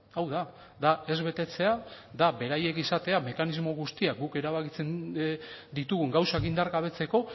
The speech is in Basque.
hau da da ez betetzea da beraiek izatea mekanismo guztiak guk erabakitzen ditugun gauzak indargabetzeko